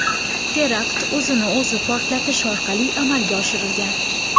Terakt o‘zini o‘zi portlatish orqali amalga oshirilgan.